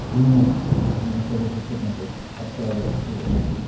три месяца но я отказался всех наркотиков от травы от всего